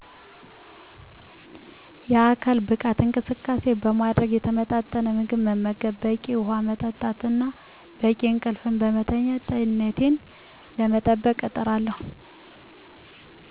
የአካል ብቃት እንቅስቃሴ በማድረግ፣ የተመጣጠነ ምግብ መመገብ፣ በቂ ውሃ መጠጣት እና በቂ እንቅልፍ ለማተኛት ጤንነቴን ለመጠበቅ እጥራለሁ